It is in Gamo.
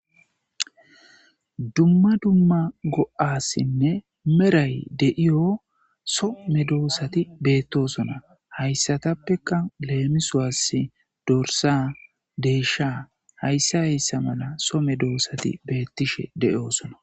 Dumma dumma go77as meray deyiya so medosatti betossona haytapekka lemisos dorssa desha hayssa hayssa mala somedosati betishe de77osonna.